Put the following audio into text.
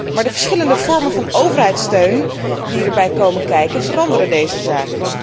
Maar de verschillende vormen van overheidssteun die erbij komen kijken veranderen deze zaak.